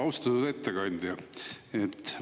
Austatud ettekandja!